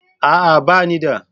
A'a, ba ni da